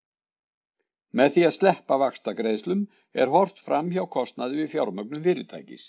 með því að sleppa vaxtagreiðslum er horft fram hjá kostnaði við fjármögnun fyrirtækis